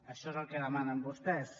això és el que demanen vostès